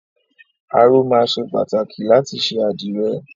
Aró máa ṣe pàtàkì láti ṣe àdìrẹ.